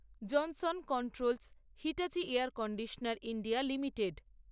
Johnson Controls Hitachi air conditioner India limited